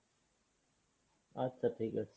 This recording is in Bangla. আচ্ছা ঠিক আছে।